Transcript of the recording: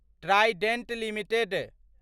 Trident limited